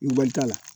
Nbali t'a la